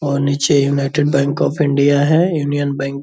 और नीचे united bank of India है यूनियन बैंक --